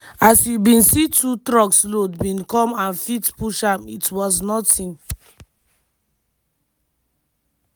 "as you bin see two truck loads bin come and fit push am it was nothing.